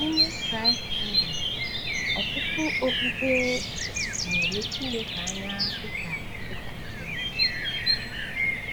N’ime Kraịstndọm, ọtụtụ okpukpe um na-ele Chineke anya dịka dịka Triniti.